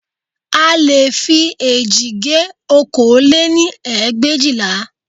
A leè fi eéjì gé okòó lé-ní ẹgbẹ̀éjìlá